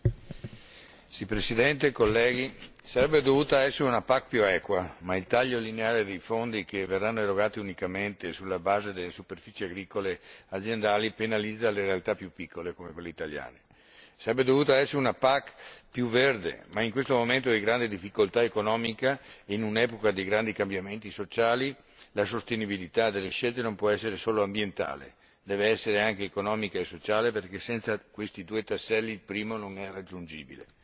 Signora Presidente, onorevoli colleghi, avrebbe dovuta essere una PAC più equa, ma il taglio lineare dei fondi che verranno erogati unicamente sulla base delle superfici agricole aziendali penalizza le realtà più piccole, come quelle italiane. Avrebbe dovuto essere una PAC più verde, ma in questo momento di grande difficoltà economica, in un'epoca di grandi cambiamenti sociali, la sostenibilità delle scelte non può essere solo ambientale, deve anche essere economica e sociale perché, senza questi due tasselli, il primo non è raggiungibile.